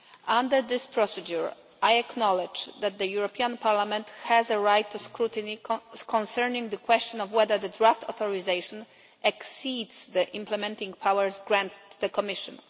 Under this procedure, I acknowledge that the European Parliament has a right of scrutiny concerning the question of whether the draft authorisation exceeds the implementing powers granted to the Commission.